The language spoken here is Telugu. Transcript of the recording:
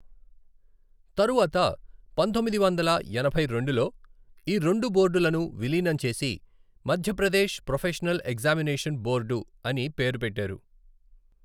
తరువాత, పంతొమ్మిది వందల ఎనభై రెండులో, ఈ రెండు బోర్డులను విలీనం చేసి మధ్యప్రదేశ్ ప్రొఫెషనల్ ఎగ్జామినేషన్ బోర్డు అని పేరు పెట్టారు.